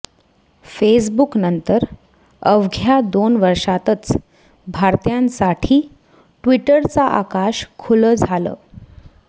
फेसबुकनंतर अवघ्या दोन वर्षातच भारतीयांसाठी ट्विटरचं आकाश खुलं झालं